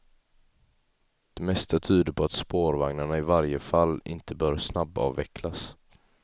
Det mesta tyder på att spårvagnarna i varje fall inte bör snabbavvecklas.